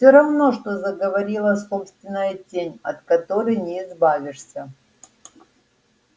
всё равно что заговорила собственная тень от которой не избавишься